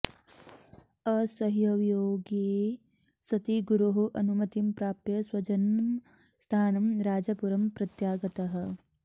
असह्यवियोगे सति गुरोः अनुमतिं प्राप्य स्वजन्मस्थानं राजापुरं प्रत्यागतः